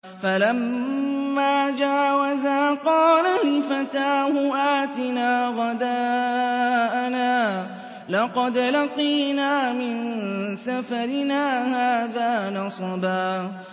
فَلَمَّا جَاوَزَا قَالَ لِفَتَاهُ آتِنَا غَدَاءَنَا لَقَدْ لَقِينَا مِن سَفَرِنَا هَٰذَا نَصَبًا